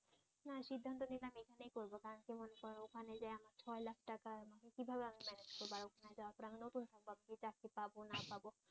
ওখানে যায়া আমার ছয় লাখ টাকা কিভাবে আমি ম্যানেজ করব আর ওখানে যাওয়ার পর আমি নতুন আমি চাকরি পাব না পাব